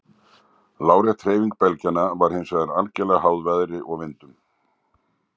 Lárétt hreyfing belgjanna var hins vegar algerlega háð veðri og vindum.